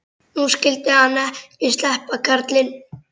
Nú skyldi hann ekki sleppa, karlinn.